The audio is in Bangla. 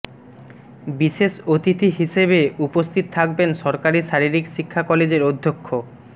বিশেষ অতিথি হিসেবে উপস্থিত থাকবেন সরকারি শারীরিক শিক্ষা কলেজের অধ্যক্ষ মো